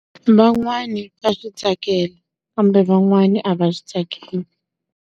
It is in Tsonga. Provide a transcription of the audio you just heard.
Van'wani va swi tsakela, kambe van'wani a va swi tsakeli.